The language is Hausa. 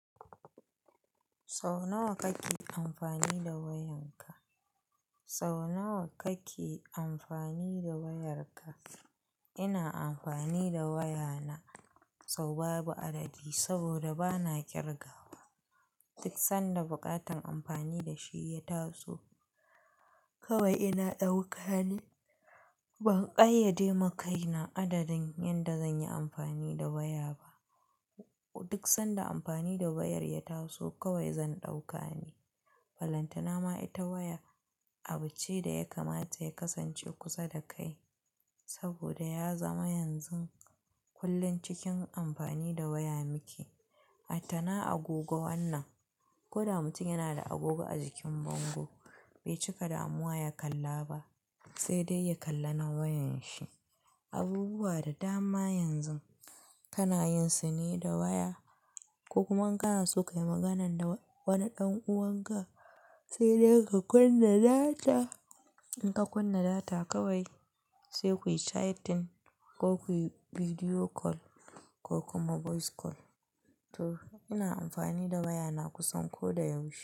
Sau nawa kake amfani da wayan ka? Sau nawa kake amfani da wayar ka? Ina amfani da waya na sau babu adadi saboda bana kirgawa. Duk sanda bukatan amfani da shi ya taso kawai ina ɗauka ne. Ban ƙayyade ma kaina adadin yanda zanyi amfani da waya ba. Duk sanda amfani da wayar ya taso kawai zan ɗauka ne. Falantana ma ita waya abu ce da ya kamata ya kasance kusa da kai saboda ya zama yanzu kullum cikin amfani da waya muke. A tana agogo wannan. Ko da mutum yana da agogo a jikin bango bai cika damuwa ya kalla ba sai dai ya kalla na wayan shi. Abubuwa da dama yanzu kana yin su ne da waya. Ko kuma in kana so ka yi magana da wani ɗan uwanka sai dai ka kunna data. In ka kunna data kawai sai kuyi chatting ko kuyi video call ko kuma voice call. To ina amfani da wayana kusan ko da yaushe.